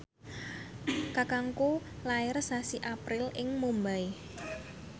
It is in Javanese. kakangku lair sasi April ing Mumbai